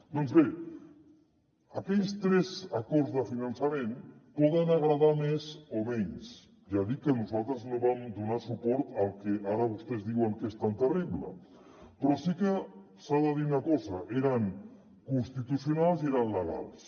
doncs bé aquells tres acords de finançament poden agradar més o menys ja dic que nosaltres no vam donar suport al que ara vostès diuen que és tan terrible però sí que s’ha de dir una cosa eren constitucionals i eren legals